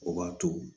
O b'a to